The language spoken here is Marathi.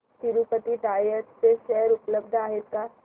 तिरूपती टायर्स चे शेअर उपलब्ध आहेत का